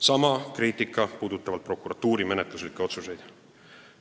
Sama kriitika puudutas prokuratuuri menetluslikke otsuseid.